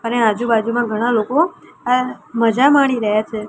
અને આજુ-બાજુમાં ઘણા લોકો અ મજા માણી રહ્યા છે.